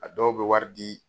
A dɔw bɛ wari di